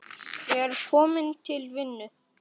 Ég er kominn til vinnu.